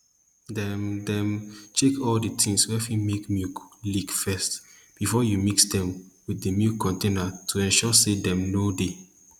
dem dem dey check all d tins wey fit leak milk first before you mix dem with the milk containers to ensure say dem no dey